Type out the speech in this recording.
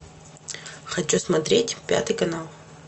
хочу смотреть пятый канал